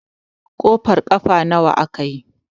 kofar kafa nawa aka yi?